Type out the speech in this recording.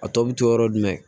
A tɔ bɛ to yɔrɔ jumɛn